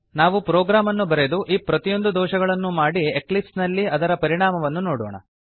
ನಾವು ಪ್ರೊಗ್ರಾಮ್ ಅನ್ನು ಬರೆದು ಈ ಪ್ರತಿಯೊಂದು ದೋಷಗಳನ್ನೂ ಮಾಡಿ ಎಕ್ಲಿಪ್ಸ್ ನಲ್ಲಿ ಅದರ ಪರಿಣಾಮವನ್ನು ನೋಡೋಣ